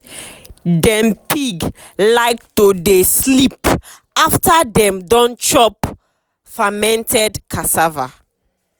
dem pig like to dey sleep after dem don chop fermented cassava.